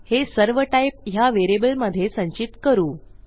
हे सर्व टाइप ह्या व्हेरिएबलमधे संचित करू